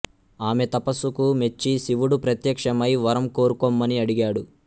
ఆమె తపసుకు మెచ్చి శివుడు ప్రత్యక్షమై వరం కోరుకొమ్మని అడిగాడు